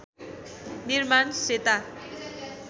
निर्माण सेता